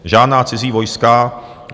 Žádná cizí vojska.